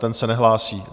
Ten se nehlásí.